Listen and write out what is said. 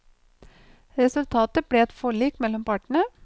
Resultatet ble et forlik mellom partene.